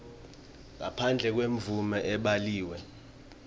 ngaphandle kwemvumo lebhaliwe